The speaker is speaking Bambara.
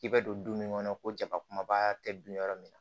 I bɛ don du min kɔnɔ ko jaba kumaba tɛ dun yɔrɔ min na